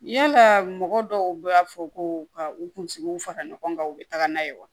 Yalaa mɔgɔ dɔw b'a fɔ ko ka u kunsigiw fara ɲɔgɔn kan u bɛ taga n'a ye wa